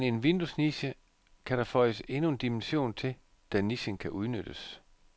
Har man en vinduesniche, kan der føjes endnu en dimension til, da nichen kan udnyttes.